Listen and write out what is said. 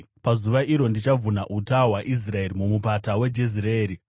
Pazuva iro ndichavhuna uta hwaIsraeri mumupata weJezireeri.”